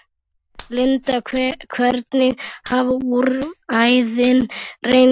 Linda, hvernig hafa úrræðin reynst?